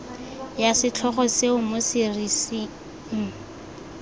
ya setlhogo seo mo serising